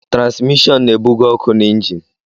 Transmishọn na-ebuga ọkụ na injin.